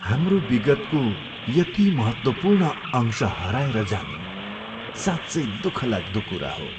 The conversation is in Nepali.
हाम्रो विगत्को यति महत्त्वपूर्ण अंश हराएर जानु साँच्चै दुःखलाग्दो कुरा हो।